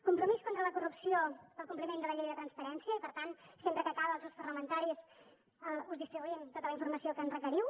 compromís contra la corrupció pel compliment de la llei de transparència i per tant sempre que cal als grups parlamentaris us distribuïm tota la informació que ens requeriu